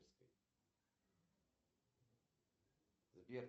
алиса какая используется валюта в токио